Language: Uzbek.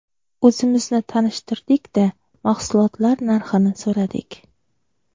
O‘zimizni tanishtirdik-da, mahsulotlar narxini so‘radik.